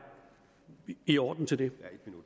i orden til det